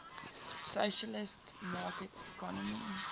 socialist market economy